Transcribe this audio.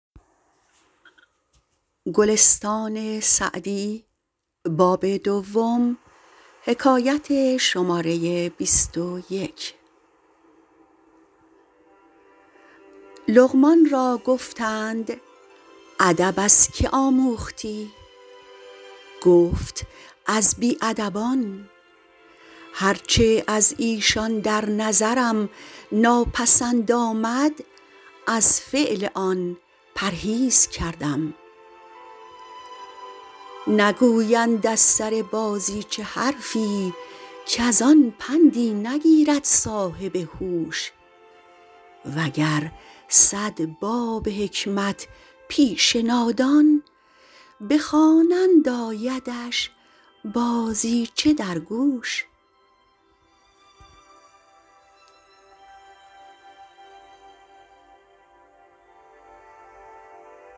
لقمان را گفتند ادب از که آموختی گفت از بی ادبان هر چه از ایشان در نظرم ناپسند آمد از فعل آن پرهیز کردم نگویند از سر بازیچه حرفی کز آن پندی نگیرد صاحب هوش و گر صد باب حکمت پیش نادان بخوانند آیدش بازیچه در گوش